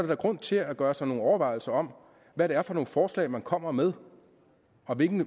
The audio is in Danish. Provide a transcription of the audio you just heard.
da grund til at gøre sig nogle overvejelser om hvad det er for nogle forslag man kommer med og hvilken